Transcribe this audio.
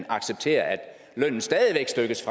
accepteres at lønnen stadig væk stykkes